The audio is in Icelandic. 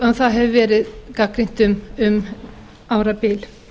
en það hefur verið gagnrýnt um árabil